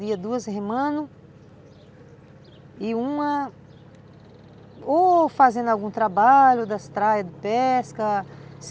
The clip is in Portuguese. Ia duas remando e uma ou fazendo algum trabalho da estrada de pesca.